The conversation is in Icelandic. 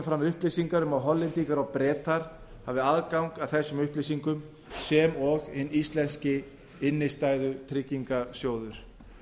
fram upplýsingar um að hollendingar og bretar hafi aðgang að þessum upplýsingum sem og hinn íslenski innstæðutryggingarsjóður